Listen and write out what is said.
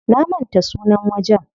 Na manta sunan wajen.